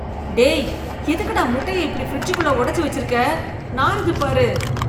டேய், எதுக்குடா முட்டைய இப்படி ஃப்ரிட்ஜ்க்குள்ள ஒடச்சு வெச்சிருக்க, நாறுதுப் பாரு.